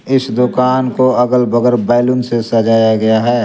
इस दुकान को अगल बगल बैलून से सजाया गया है।